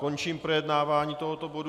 Končím projednávání tohoto bodu.